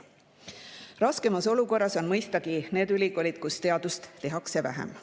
Raskemas olukorras on mõistagi need ülikoolid, kus teadust tehakse vähem.